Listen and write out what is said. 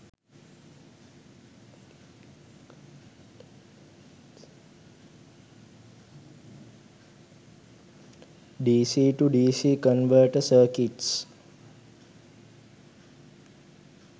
dc to dc converter circuits